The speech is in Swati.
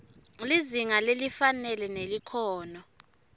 lizinga lelifanele nelikhono